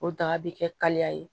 O daga bi kɛ kaleya ye